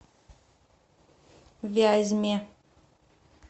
вязьме